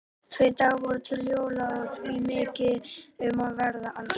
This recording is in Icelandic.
Tveir dagar voru til jóla og því mikið um að vera alls staðar.